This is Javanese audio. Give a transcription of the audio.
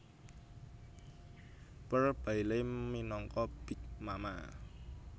Pearl Bailey minangka Big Mama